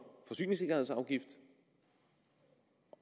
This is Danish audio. forsyningssikkerhedsafgift